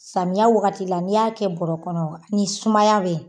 Samiya wagati la n'i y'a kɛ bɔrɔ kɔnɔ ni sumaya be yen